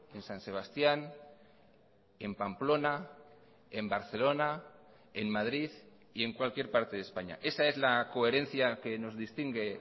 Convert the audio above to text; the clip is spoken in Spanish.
en san sebastián en pamplona en barcelona en madrid y en cualquier parte de españa esa es la coherencia que nos distingue